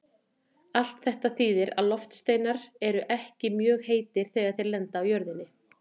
Allt þetta þýðir að loftsteinar eru ekki mjög heitir þegar þeir lenda á jörðinni.